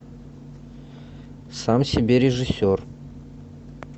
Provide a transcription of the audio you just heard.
сам себе режиссер